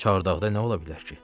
Çardaqda nə ola bilər ki?